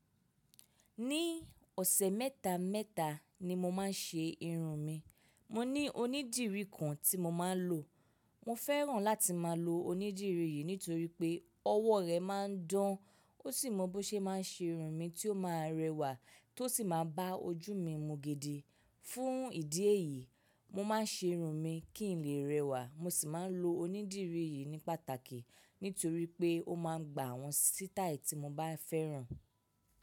Ní ọ̀sẹ̀ mẹ́ta mẹ́ta ni mo máa ń ṣe irun mi. Mo ní onídìrí kan tí mo máa ń lò. Mo fẹ́ràn láti máa lo onídìrí yìí nítorí pé ọwọ́ rẹ̀ máa ń dán ó sì mọ bó ṣe máa ń ṣe irun mi tí ó máa rẹwà tó sì máa bá ojú mi mú gidì. Fún ìdí èyí, mo máa ń ṣe irun mi kí n lè rẹwà, mo sì máa ń lo onídìrí yìí ní pàtàkì nítorí pé ó máa ń gba àwọn sítáì tí mo bá fẹ́ràn.